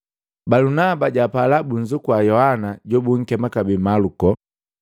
Balunaba japala bunzukua na Yohana jobunkema kabee Maluko.